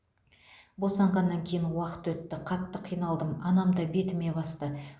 босанғаннан кейін уақыт өтті қатты қиналдым анам да бетіме басты